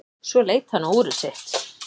Svo leit hann á úrið sitt.